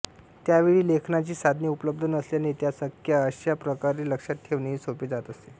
त्यावेळी लेखनाची साधने उपलब्ध नसल्याने त्या संख्या अशा प्रकारे लक्षात ठेवणेही सोपे जात असे